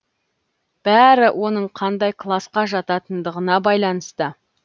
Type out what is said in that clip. бәрі оның қандай класқа жататындығына байланысты